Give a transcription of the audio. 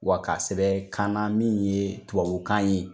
Wa ka sɛbɛn kan na min ye tubabukan ye